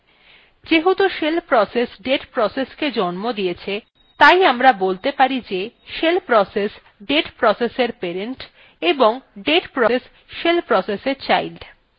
যেহেতু shell process date processকে জন্ম দিয়েছে তাই আমরা বলতে পারি যে shell process date processএর parent এবং date process shell processএর child